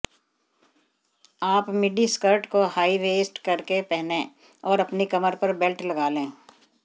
आप midi skirt को high waist करके पहनें और अपनी कमर पर बेल्ट लगा लें